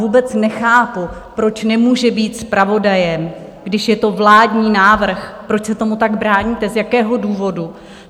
Vůbec nechápu, proč nemůže být zpravodajem, když je to vládní návrh, proč se tomu tak bráníte, z jakého důvodu?